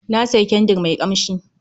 Na sayi kyandir mai kamshi